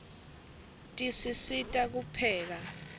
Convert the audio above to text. tisisita kupheka